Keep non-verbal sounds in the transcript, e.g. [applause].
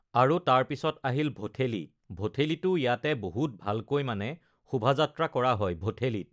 [noise] আৰু তাৰ পিছত আহিল ভঠেলি ভঠেলিতো ইয়াতে বহুত ভালকৈ মানে শোভাযাত্ৰা কৰা হয় ভঠেলিত